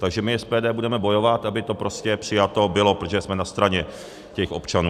Takže my SPD budeme bojovat, aby to prostě přijato bylo, protože jsme na straně těch občanů.